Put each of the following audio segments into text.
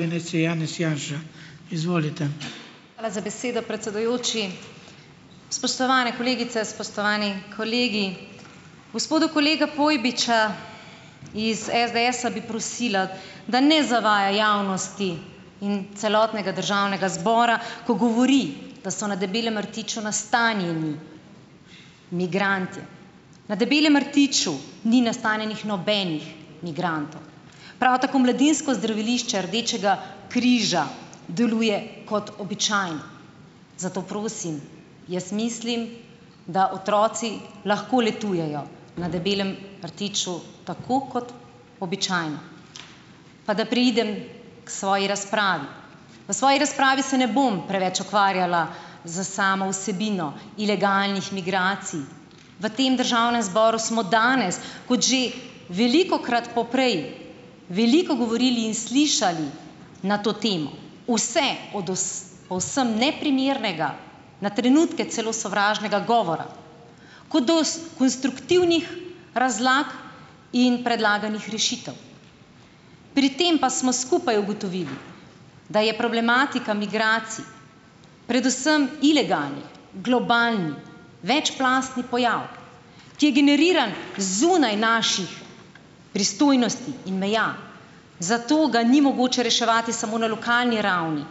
Hvala za besedo, predsedujoči. Spoštovane kolegice, spoštovani kolegi! Gospoda kolega Pojbiča iz SDS-a bi prosila, da ne zavaja javnosti in celotnega državnega zbora, ko govori, da so na Debelem rtiču nastanjeni migranti. Na Debelem rtiču ni nastanjenih nobenih migrantov. Prav tako Mladinsko zdravilišče Rdečega križa deluje kot običajno. Zato prosim, jaz mislim, da otroci lahko letujejo na Debelem rtiču tako kot običajno. Pa da preidem k svoji razpravi. V svoji razpravi se ne bom preveč ukvarjala z samo vsebino ilegalnih migracij. V tem državnem zboru smo danes kot že velikokrat poprej veliko govorili in slišali na to temo, vse od povsem neprimernega, na trenutke celo sovražnega govora, kot do konstruktivnih razlag in predlaganih rešitev. Pri tem pa smo skupaj ugotovili, da je problematika migracij, predvsem ilegalnih globalnih, večplastni pojav, ki je generiran zunaj naših pristojnosti in meja. Zato ga ni mogoče reševati samo na lokalni ravni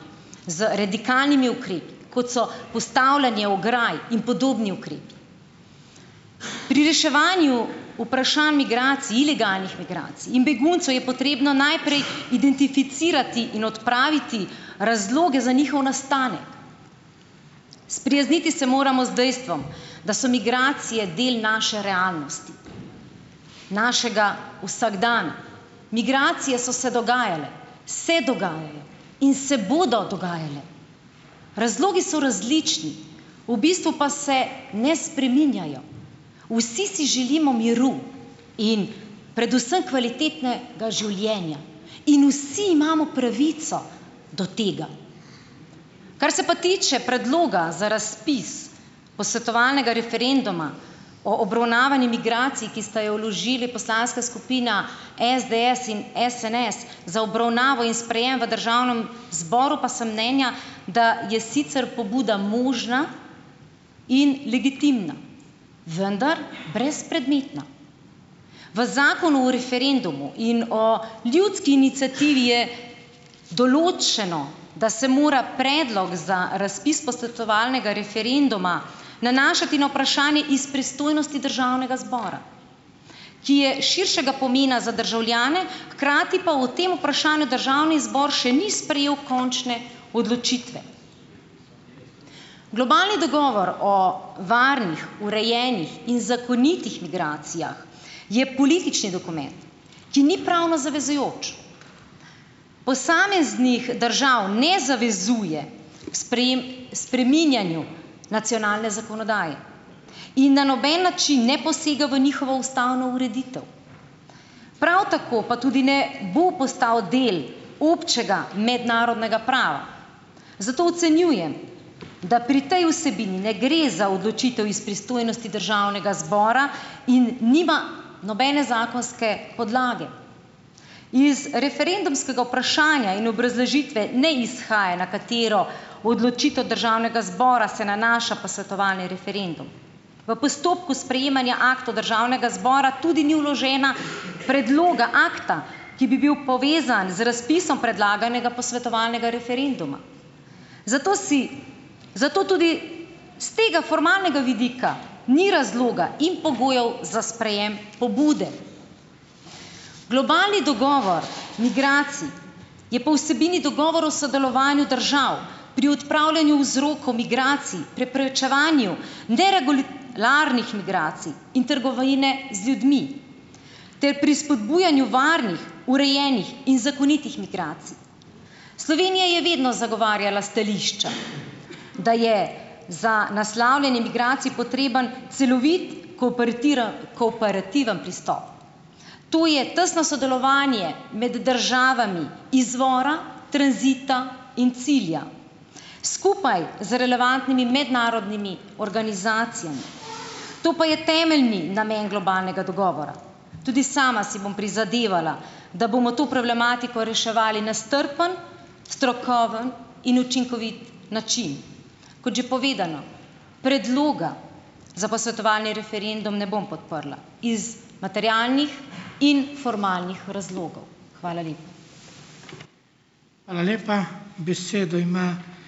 z radikalnimi ukrepi, kot so postavljanje ograj in podobni ukrepi. Pri reševanju vprašanj migracij, ilegalnih migracij in beguncev je potrebno najprej identificirati in odpraviti razloge za njihov nastanek. Sprijazniti se moramo z dejstvom, da so migracije del naše realnosti, našega vsakdana. Migracije so se dogajale, se dogajajo in se bodo dogajale. Razlogi so različni, v bistvu pa se ne spreminjajo. Vsi si želimo miru in predvsem kvalitetnega življenja in vsi imamo pravico do tega. Kar se pa tiče predloga za razpis posvetovalnega referenduma o obravnavanju migracij, ki sta ga vložili poslanska skupina SDS in SNS, za obravnavo in sprejem v državnem zboru, pa sem mnenja, da je sicer pobuda možna in legitimna, vendar brezpredmetna. V Zakonu o referendumu in o ljudski iniciativi je določeno, da se mora predlog za razpis posvetovalnega referenduma nanašati na vprašanje iz pristojnosti državnega zbora, ki je širšega pomena za državljane, hkrati pa o tem vprašanju državni zbor še ni sprejel končne odločitve. Globalni dogovor o varnih, urejenih in zakonitih migracijah je politični dokument, ki ni pravno zavezujoč. Posameznih držav ne zavezuje k k spreminjanju nacionalne zakonodaje in na noben način ne posega v njihovo ustavno ureditev, prav tako pa tudi ne bo postavi del občega mednarodnega prava. Zato ocenjujem, da pri tej vsebini ne gre za odločitev iz pristojnosti državnega zbora in nima nobene zakonske podlage. Iz referendumskega vprašanja in obrazložitve ne izhaja, na katero odločitev državnega zbora se nanaša posvetovalni referendum. V postopku sprejemanja aktov državnega zbora tudi ni vloženega predloga akta, ki bi bil povezan z razpisom predlaganega posvetovalnega referenduma. Zato si zato tudi s tega vidika formalnega ni razloga in pogojev za sprejem pobude. Globalni dogovor migracij je po vsebini dogovor o sodelovanju držav pri odpravljanju vzrokov migracij, preprečevanju migracij in trgovine z ljudmi ter pri spodbujanju varnih, urejenih in zakonitih migracij. Slovenija je vedno zagovarjala stališča, da je za naslavljanje migracij potreben celovit, kooperativen pristop. To je tesno sodelovanje med državami izvora, tranzita in cilja, skupaj z relevantnimi mednarodnimi organizacijami. To pa je temeljni namen globalnega dogovora. Tudi sama si bom prizadevala, da bomo to problematiko reševali na strpen, strokoven in učinkovit način. Kot že povedano, predloga za posvetovalni referendum ne bom podprla iz materialnih in formalnih razlogov. Hvala lepa.